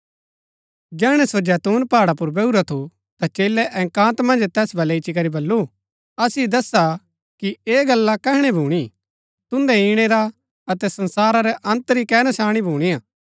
जैहणै सो जैतून पहाड़ा पुर बैहुरा थु ता चेलै एकान्त मन्ज तैस बलै इच्ची करी बल्लू असिओ दस्सा कि ऐह गल्ला कैहणै भूणी तुन्दै ईणै रा अतै संसारा रै अन्त री कै नशाणी भुणीआ